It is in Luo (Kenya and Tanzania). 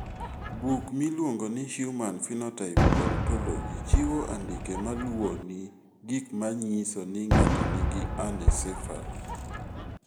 Buk miluongo ni Human Phenotype Ontology chiwo andike ma luwoni mar gik ma nyiso ni ng'ato nigi anencephaly.